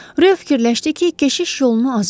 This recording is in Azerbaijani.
Reo fikirləşdi ki, keşiş yolunu azıb.